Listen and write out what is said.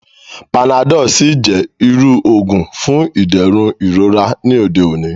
Panadọ́l sì jẹ́ irú òògùn fún ìdẹ̀rùn ìrora ní òde òní